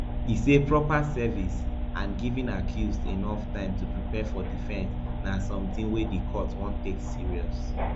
e say proper service and giving accused enof time to prepare for defense na sometin wey di court wan take serious